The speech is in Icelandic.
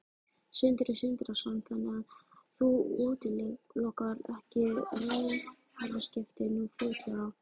Sindri Sindrason: Þannig að þú útilokar ekki ráðherraskipti nú fljótlega?